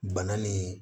Bana ni